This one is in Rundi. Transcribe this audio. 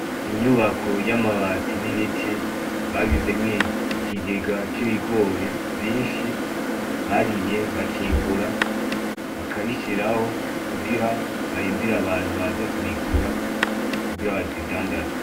Inyubako y’amabati n’ibiti bagizemwo ikigega c’ibigiro vyinshi ,barimye bakimbura , bakabishiraho kugira barindire abantu baza kubigura kugira babidandaze.